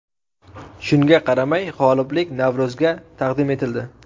Shunga qaramay, g‘oliblik Navro‘zovga taqdim etildi.